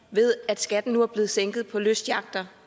ved at skatten nu er blevet sænket på lystyachter